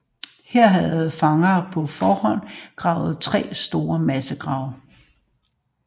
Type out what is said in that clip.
Her havde fanger på forhånd gravet tre store massegrave